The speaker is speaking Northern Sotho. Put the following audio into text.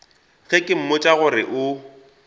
ge ke mmotša gore o